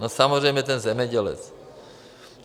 No samozřejmě ten zemědělec.